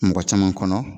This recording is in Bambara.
Mɔgɔ caman kɔnɔ